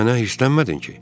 Mənə hirslənmədin ki?